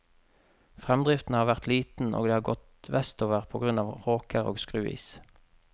Fremdriften har vært liten og de har gått vestover på grunn av råker og skruis.